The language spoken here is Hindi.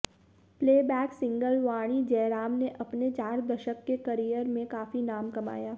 प्लेबैक सिंगर वाणी जयराम ने अपने चार दशक के करियर में काफी नाम कमाया